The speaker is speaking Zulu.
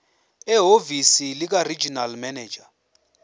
ehhovisi likaregional manager